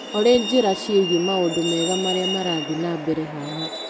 Olĩ njĩra ciĩgiĩ maũndũ mega marĩa marathiĩ na mbere haha.